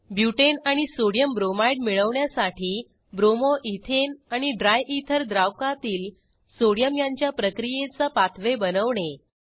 बुटाने आणि Sodiumbromideमिळवण्यासाठी bromo ethane आणि ड्रायथर द्रावकातील सोडियम यांच्या प्रक्रियेचा पाथवे बनवणे